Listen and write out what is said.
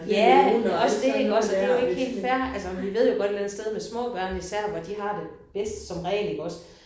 Ja også det iggås og det jo ikke helt fair. Altså vi ved jo godt et eller andet sted med små børn især hvor de har det bedst som regel iggås